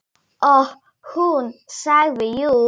Og hún sagði jú.